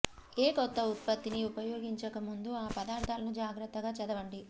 ఏ కొత్త ఉత్పత్తిని ఉపయోగించక ముందు ఆ పదార్ధాలను జాగ్రత్తగా చదవండి